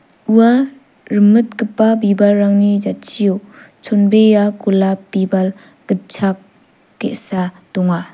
ua rimitgipa bibalrangni jatchio chonbea golap bibal gitchak ge·sa donga.